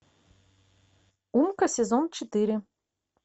умка сезон четыре